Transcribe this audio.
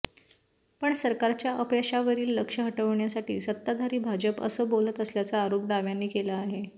पण सरकारच्या अपयशावरील लक्ष हटवण्यासाठी सत्ताधारी भाजप असं बोलत असल्याचा आरोप डाव्यांनी केला आहे